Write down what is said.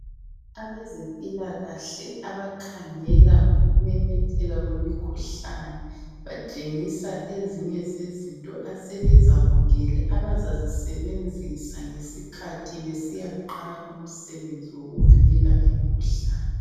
Abezempilakahle abakhangela ngokumemetheka kwemikhuhlane batshengisa ezinye zezinto asebezamukele abazazisebenzisa ngesikhathi besiyaqala umsebenzi wokuvikela imikhuhlane.